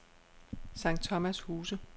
Sankt Thomas Huse